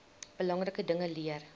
belangrike dinge leer